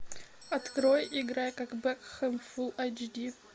открой играй как бекхэм фулл эйч ди